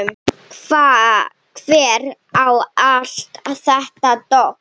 Hver á allt þetta dót?